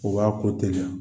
O b'a ko tɛliya